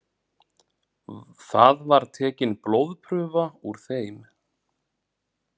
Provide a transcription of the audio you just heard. Þar var tekin blóðprufa úr þeim